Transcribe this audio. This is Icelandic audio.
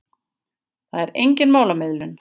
Það var engin málamiðlun.